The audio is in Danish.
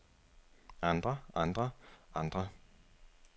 andre andre andre